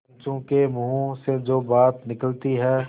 पंचों के मुँह से जो बात निकलती है